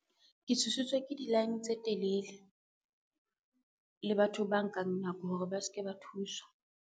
Ke thusitswe ke di-line tse telele, le batho ba nkang nako hore ba ske ba thuswa.